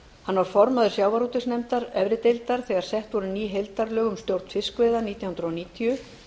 hann var formaður sjávarútvegsnefndar efri deildar þegar sett voru ný heildarlög um stjórn fiskveiða nítján hundruð níutíu